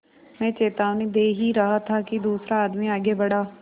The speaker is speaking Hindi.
मैं चेतावनी दे ही रहा था कि दूसरा आदमी आगे बढ़ा